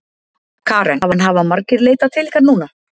Karen: En hafa margir leitað til ykkar núna?